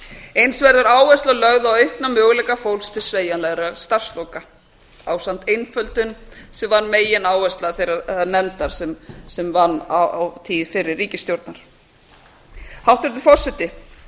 eins verður áhersla lögð a aukna möguleika fólks til sveigjanlegra starfsloka ásamt einföldun sem var megináhersla þeirrar nefndar sem vann á tíð fyrri ríkisstjórnar hæstvirtur forseti